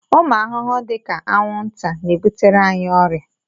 Ụmụ arụrụ dị ka anwụnta na-ebutere anyị ọrịa